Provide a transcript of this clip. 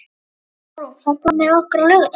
Árún, ferð þú með okkur á laugardaginn?